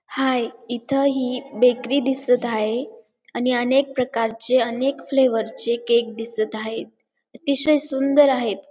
हाय इथं ही बेकरी दिसत आहे आणि अनेक प्रकारचे अनेक फ्लेवर्स चे केक दिसत आहे अतिशय सुंदर आहेत.